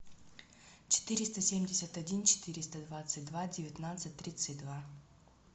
четыреста семьдесят один четыреста двадцать два девятнадцать тридцать два